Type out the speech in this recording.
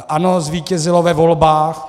ANO zvítězilo ve volbách.